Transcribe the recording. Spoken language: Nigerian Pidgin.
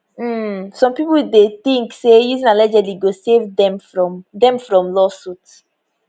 um some pipo dey tink say using allegedly go save dem from dem from lawsuit